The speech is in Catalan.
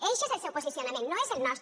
eixe és el seu posicionament no és el nostre